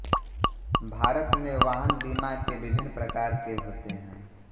भारत में वाहन बीमा के विभिन्न प्रकार के होते हैं